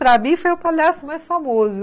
Para mim, foi o palhaço mais famoso.